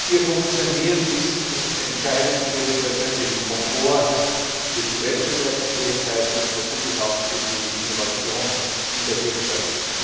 Ihr Funktionieren ist entscheidend für den persönlichen Komfort, für die Wettbewerbsfähigkeit und natürlich auch für die Innovation in der Wirtschaft.